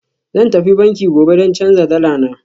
Zan tafi banki gobe don canza dala na